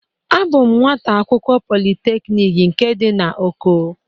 Abụ m nwata akwukwo Polịteknik nke dị na Oko.